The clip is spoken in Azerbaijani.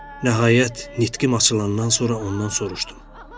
Nəhayət, nitqim açılandan sonra ondan soruşdum: